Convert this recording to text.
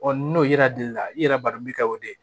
n'o yera deli la i yɛrɛ b'a dɔn min kɛ o de ye